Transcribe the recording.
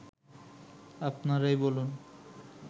আপনারাই বলুন